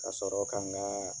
Ka sɔrɔ ka n ka